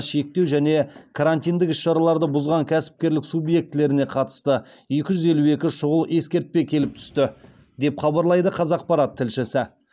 шектеу және карантиндік іс шараларды бұзған кәсіпкерлік субъектілеріне қатысты екі жүз елу екі шұғыл ескертпе келіп түсті деп хабарлайды қазақпарат тілшісі